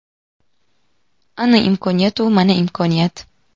Ana imkonya u mana imkoniyat!.